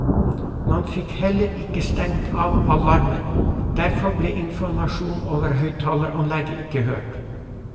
Man fikk heller ikke stengt av alarmen, derfor ble informasjonen over høyttaleranlegget ikke hørt.